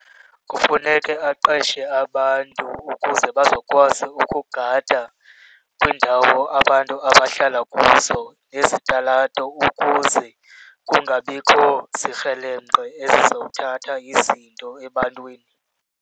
Kufuneke aqeshe abantu ukuze bazokwazi ukugada kwiindawo abantu abahlala kuzo nezitalato ukuze kungabikho zikrelemnqe ezizothatha izinto ebantwini.